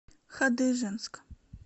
хадыженск